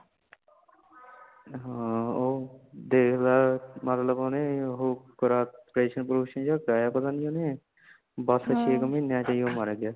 ਹਾਂ ਉਹ ਦੇਖਲੇ ਮਤਲਬ ਓਹਨੇ ਉਹ operation operation ਜਾ ਕਰਾਯਾ ਪਤਾ ਨਹੀਂ ਓਨੇ ਬਸ ਛੇ ਕਉ ਮਹੀਨਿਆਂ ਹੀ ਉਹ ਮਰਗਯਾ